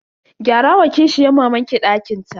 Gyara wa kishiyan mamanki dakin ta.